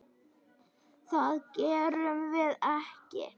Það gerum við ekki.